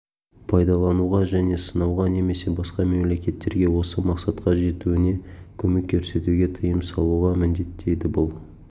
прайдалануға және сынауға немесе басқа мемлекеттерге осы мақсатқа жетуіне көмек көрсетуге тыйым салуға міндеттейді бұл